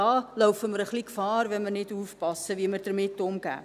Da laufen wir ein wenig Gefahr, wenn wir nicht aufpassen, wie wir damit umgehen.